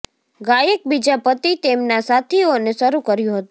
ગાયક બીજા પતિ તેમના સાથીઓને શરૂ કર્યું હતું